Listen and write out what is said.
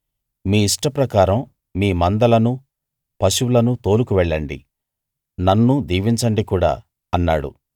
మీ ఇష్టప్రకారం మీ మందలనూ పశువులనూ తోలుకు వెళ్ళండి నన్ను దీవించండి కూడా అన్నాడు